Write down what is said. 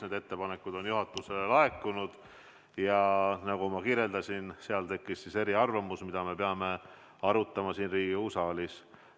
Need ettepanekud on juhatusele laekunud ja nagu ma kirjeldasin, meil tekkisid eriarvamused, mida me peame arutama siin Riigikogu saalis.